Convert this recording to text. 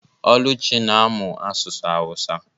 Oluchi na-amụ asụsụ awusa.